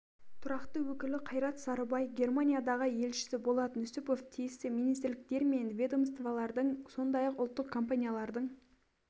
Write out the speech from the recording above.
тұрақты өкілі қайрат сарыбай германиядағы елшісі болат нүсіпов тиісті министрліктер мен ведомстволардың сондай-ақ ұлттық компаниялардың